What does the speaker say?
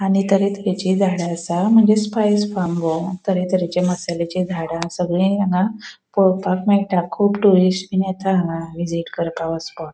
आणि तर तरेचे झाड़ा असा मागिर तर तरेचे मसालाची झाड़ा सागली हांगा पोळोवपाक मेळटा कुब टुरिस्ट येता हांगा विज़िट करपाक --